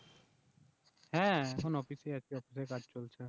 হ্যাঁ এখন অফিস এ আছি অফিসে কাজ চলছে